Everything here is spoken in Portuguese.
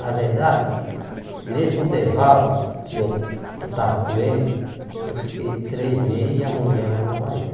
Na verdade, nesse intervalo que eu esta estava com ele, eu fiquei três meses e a mulher lá na Bahia.